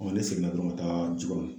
ne seginna dɔrɔn ka taa Jikɔrɔni